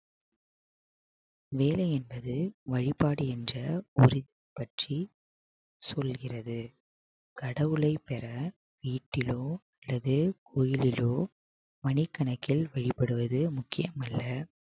வேலை என்பது வழிபாடு என்ற பற்றி சொல்கிறது கடவுளை பெற வீட்டிலோ அல்லது கோவிலிலோ மணிக்கணக்கில் வழிபடுவது முக்கியமல்ல